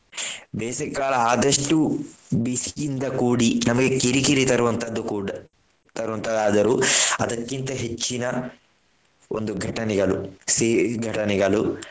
ಬೇಸಗೆಕಾಲ ಆದಷ್ಟು ಬಿಸಿಯಿಂದ ಕೂಡಿ ನಮಗೆ ಕಿರಿ ಕಿರಿ ತರುವಂತದ್ದು ಕೂಡ ತರುವಂತದ್ದು ಆದರೂ ಅದಕ್ಕಿಂತ ಹೆಚ್ಚಿನ ಒಂದು ಘಟನೆಗಳು ಸಿಹಿ ಘಟನೆಗಳು.